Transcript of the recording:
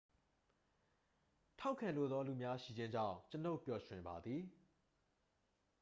ထောက်ခံလိုသော လူများ ရှိခြင်းကြောင့် ကျွန်ုပ်ပျော်ရွှင်ပါသည်